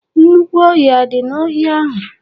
Nnukwu ọhịa adị n'ohia ahụ?